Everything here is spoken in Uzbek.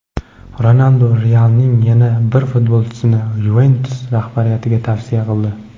Ronaldu "Real"ning yana bir futbolchisini "Yuventus" rahbariyatiga tavsiya qildi.